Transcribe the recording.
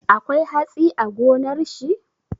Akwai hatsi a gonar shi?